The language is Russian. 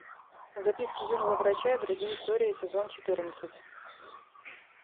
записки юного врача и другие истории сезон четырнадцать